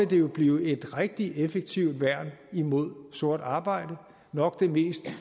det jo blive et rigtig effektivt værn mod sort arbejde nok det mest